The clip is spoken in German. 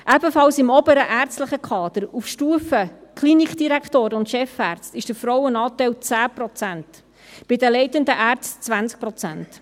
Ebenfalls im oberen ärztlichen Kader, auf Stufe der Klinikdirektoren und Chefärzte, ist der Frauenanteil 10 Prozent, bei den leitenden Ärzten 20 Prozent.